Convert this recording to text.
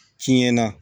Tiɲɛ na